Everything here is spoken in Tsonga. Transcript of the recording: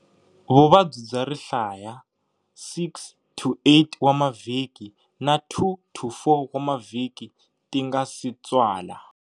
Vuvabyi bya rihlaya, 6 to 8 wa mavhiki na 2 to 4 wa mavhiki ti nga si tswala.